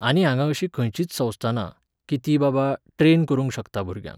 आनी हांगा अशी खंयचीच संस्था ना, कीं ती बाबा, ट्रेन करूंक शकता भुरग्यांक.